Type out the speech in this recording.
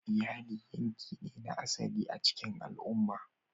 Iyali yanki ne na asali a cikin al'umma.